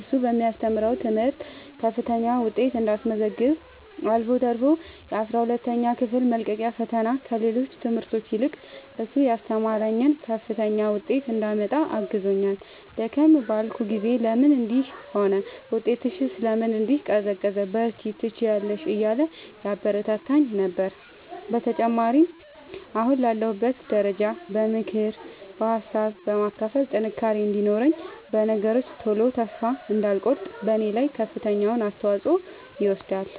እሱ በሚያስተምረው ትምህርት ከፍተኛ ውጤት እንዳስመዘግብ አልፎ ተርፎ የአስራ ሁለተኛ ክፍል መልቀቂያ ፈተና ከሌሎች ትምህርቶች ይልቅ እሱ ያስተማረኝን ከፍተኛ ውጤት እንዳመጣ አግዞኛል። ደከም ባልኩ ጊዜ ለምን እንዲህ ሆነ ውጤትሽስ ለምን እንዲህ ቀዘቀዘ በርቺ ትችያለሽ እያለ ያበረታታኝ ነበረ። በተጨማሪም አሁን ላለሁበት ደረጃ በምክር ሀሳብ በማካፈል ጥንካሬ እንዲኖረኝ በነገሮች ቶሎ ተስፋ እንዳልቆርጥ በኔ ላይ ከፍተኛውን አስተዋፅኦ ይወስዳል።